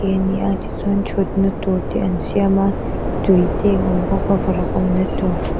te ani a tichuan ṭhutna tur te an siam a tui te a awm bawk a varak awmna tûr.